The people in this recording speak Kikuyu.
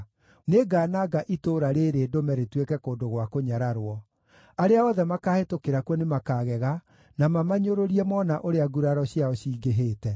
Nĩngananga itũũra rĩĩrĩ ndũme rĩtuĩke kũndũ gwa kũnyararwo; arĩa othe makaahĩtũkĩra kuo nĩmakagega na mamanyũrũrie moona ũrĩa nguraro ciao cingĩhĩte.